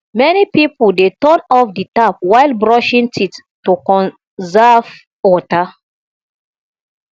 many pipo dey turn off the tap while brushing teeth to conserve water